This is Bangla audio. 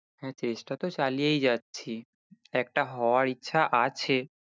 হ্যাঁ চেষ্টা তো চালিয়েই যাচ্ছি, একটা হওয়ার ইচ্ছা আছে